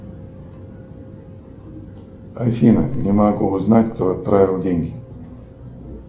афина не могу узнать кто отправил деньги